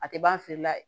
A tɛ ban a feere la